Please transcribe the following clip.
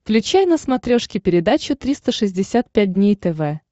включай на смотрешке передачу триста шестьдесят пять дней тв